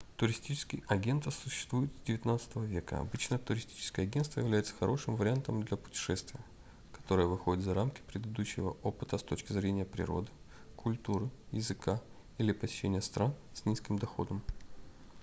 туристические агентства существуют с xix века обычно туристическое агентство является хорошим вариантом для путешествия которое выходит за рамки предыдущего опыта с точки зрения природы культуры языка или посещения стран с низким доходом